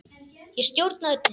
Ég stjórna öllu.